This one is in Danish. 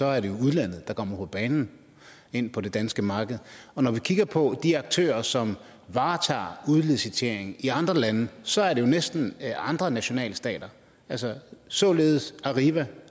er det jo udlandet der kommer på banen og ind på det danske marked og når vi kigger på de aktører som varetager udlicitering i andre lande så er det jo næsten andre nationalstater altså således er arriva